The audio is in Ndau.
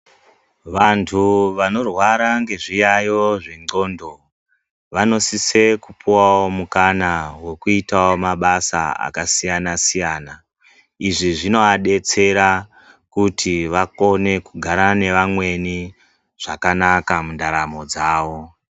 Vantu vanorwara nezviyaiyo zvendxondo vanosise kupiwawo mukana kuti vaitewo mabasa akasiyana siyana. Izvi zvinoadetsera kuti vakone kugara nevamweni zvakanaka mundaramo dzavo.